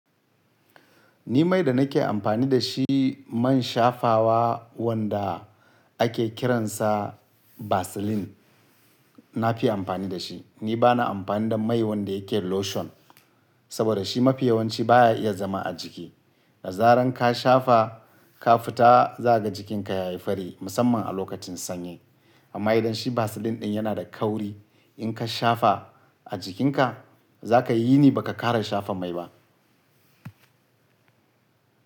Ni mai da nake amfani da shi man shafawa wanda ake kiransa Vaseline, na fi amfani da shi. Ni ba na amfani da mai wanda yake lotion, saboda shi mafiyawanci baya iya zama a jiki. Da zaran ka shafa ka fita za ka ga jikinka ya yi fari musamman a lokacin sanyi. Amma idan shi Vaseline ɗin yana da kauri, in ka shafa a jikinka za ka yi yini baka ƙara shafa mai ba.